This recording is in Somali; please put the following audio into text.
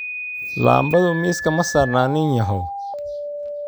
Laambadu miiska ma saarna nin yahow.